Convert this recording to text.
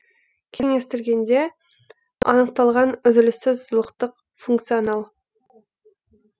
кеңістігінде анықталған үзіліссіз сызықтық функционал